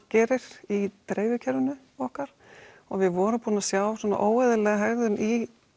gerir í dreifikerfinu okkar við vorum búin að sjá svona óeðlilega hegðun í